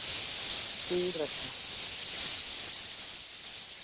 Sú regla.